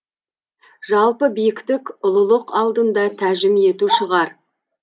жалпы биіктік ұлылық алдында тәжім ету шығар